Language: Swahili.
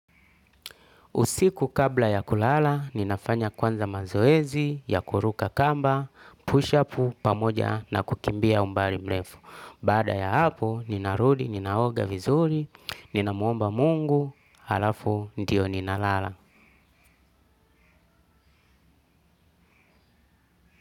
Usiku kabla ya kulala, ninafanya kwanza mazoezi, ya kuruka kamba, push up pamoja na kukimbia umbali mrefu. Baada ya hapo, ninarudi, ninaoga vizuri, ninamuomba mungu, alafu, ndio ninalala.